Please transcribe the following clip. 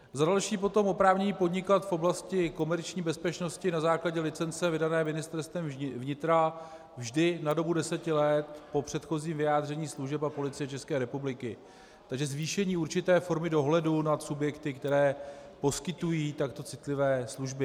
Za další potom oprávnění podnikat v oblasti komerční bezpečnosti na základě licence vydané Ministerstvem vnitra vždy na dobu deseti let po předchozím vyjádření služeb a Policie České republiky, takže zvýšení určité formy dohledu nad subjekty, které poskytují takto citlivé služby.